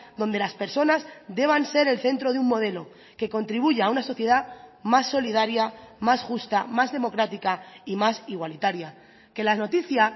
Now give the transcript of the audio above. donde las personas deban ser el centro de un modelo que contribuya a una sociedad más solidaria más justa más democrática y más igualitaria que la noticia